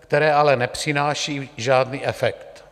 které ale nepřinášejí žádný efekt.